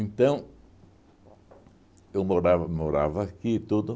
Então, eu morava morava aqui e tudo